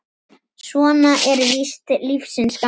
Svona er víst lífsins gangur.